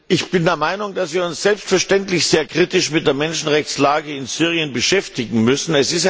Ich bin der Meinung, dass wir uns selbstverständlich sehr kritisch mit der Menschenrechtslage in Syrien beschäftigen müssen.